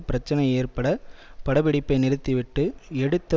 பிரச்சினை ஏற்பட பட பிடிப்பை நிறுத்திவிட்டு எடுத்த